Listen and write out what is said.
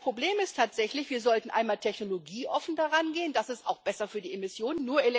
Das Problem ist tatsächlich Wir sollten einmal technologieoffen darangehen, das ist auch besser für die Emissionen.